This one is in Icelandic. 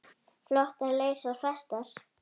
Flotar leysa festar.